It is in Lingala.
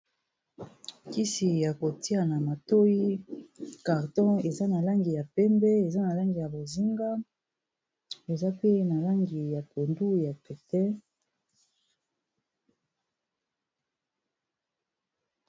Kisi ya kotia na matoi carton eza na langi ya pembe eza na langi ya bozinga eza pe na langi ya pondu ya pete